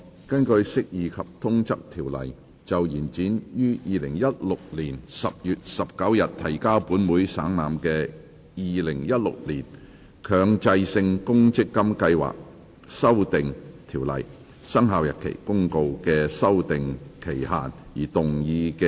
根據《釋義及通則條例》就延展於2016年10月19日提交本會省覽的《〈2016年強制性公積金計劃條例〉公告》的修訂期限而動議的擬議決議案。